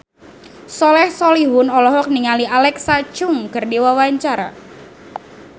Soleh Solihun olohok ningali Alexa Chung keur diwawancara